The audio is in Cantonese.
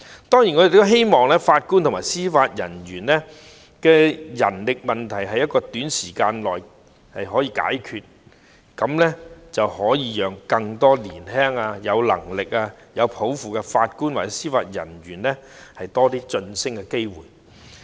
當然，我們也希望法官及司法人員的人手問題在短時間內可以解決，這樣便可以讓更多年輕、有能力、有抱負的法官及司法人員有更多晉升機會。